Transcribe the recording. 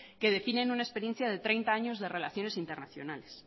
que definen una experiencia de treinta años de relaciones internacionales